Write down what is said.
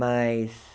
Mas...